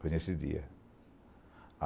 Foi nesse dia.